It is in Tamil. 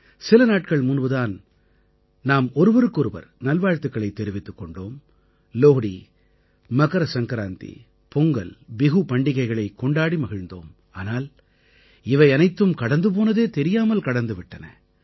சில நாட்கள் முன்பு தான் நாம் ஒருவருக்கு ஒருவர் நல்வாழ்த்துக்களைத் தெரிவித்துக் கொண்டோம் லோஹ்டி மகர சங்கராந்தி பொங்கல் பிஹு பண்டிகைகளைக் கொண்டாடி மகிழ்ந்தோம் ஆனால் இவை அனைத்தும் கடந்து போனதே தெரியாமல் கடந்து விட்டன